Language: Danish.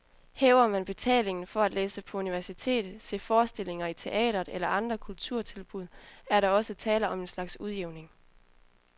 Hæver man betalingen for at læse på universitet, se forestillinger i teatret eller andre kulturtilbud, er der også tale om en slags udjævning.